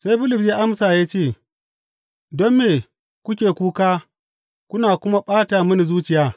Sai Bulus ya amsa ya ce, Don me kuke kuka kuna kuma ɓata mini zuciya?